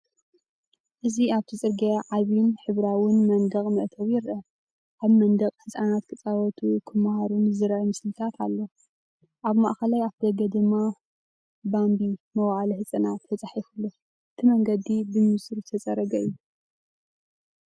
እዚ ኣብቲ ጽርግያ ዓቢን ሕብራዊን መንደቕን መእተዊን ይርአ። ኣብ መንደቕ ህጻናት ክጻወቱን ክመሃሩን ዝረኣዩ ስእልታት ኣሎ፡ ኣብ ማእከላይ ኣፍደገ ድማ "ባምቢ መዋእለ ህጻናት" ተጻሒፉ ኣሎ። እቲ መንገዲ ብንጹር ዝተጸረገ እዩ።